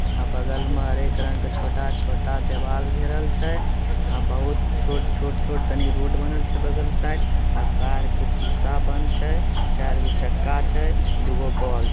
आ बगल मा हरेक रंग के छोटा-छोटा देवाल घेरल छै आ बहुत छोट छोट छोट तनी रोड बनल छै बगल साइड आ कार से शीशा बंद छै चारगो चक्का छै दुगो बल्ब --